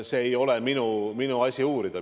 See ei ole minu asi uurida.